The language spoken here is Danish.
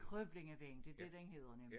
Krøblingevejen det dét den hedder nemlig